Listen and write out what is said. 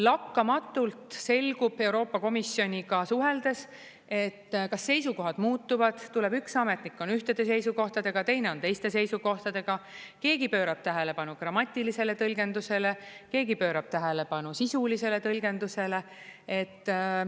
Lakkamatult selgub Euroopa Komisjoniga suheldes, kas seisukohad muutuvad, tuleb üks ametnik, on ühtede seisukohtadega, teine on teiste seisukohtadega, keegi pöörab tähelepanu grammatilisele tõlgendusele, keegi pöörab tähelepanu sisulisele tõlgendusele.